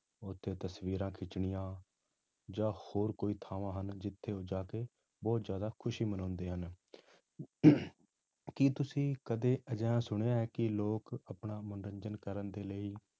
ਉੱਥੇ ਤਸ਼ਵੀਰਾਂ ਖਿੱਚਣੀਆਂ ਜਾਂ ਹੋਰ ਕੋਈ ਥਾਵਾਂ ਹਨ, ਜਿੱਥੇ ਉਹ ਜਾ ਕੇ ਬਹੁਤ ਜ਼ਿਆਦਾ ਖ਼ੁਸ਼ੀ ਮਨਾਉਂਦੇ ਹਨ ਕੀ ਤੁਸੀਂ ਕਦੇ ਅਜਿਹਾ ਸੁਣਿਆ ਹੈ ਕਿ ਲੋਕ ਆਪਣਾ ਮਨੋਰੰਜਨ ਕਰਨ ਦੇ ਲਈ